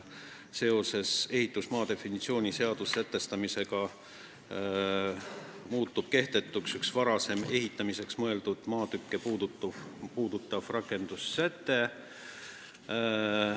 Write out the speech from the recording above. Seoses ehitusmaa definitsiooni seaduses sätestamisega muutub kehtetuks üks varasem ehitamiseks mõeldud maatükke puudutav rakendussäte.